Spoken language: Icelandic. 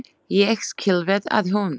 Ég skil vel að hún.